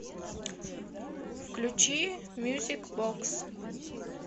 включи мьюзик бокс